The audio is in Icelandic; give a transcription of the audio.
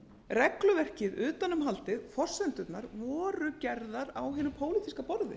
regluverkið utanumhaldið forsendurnar voru gerðar á hinu pólitíska borði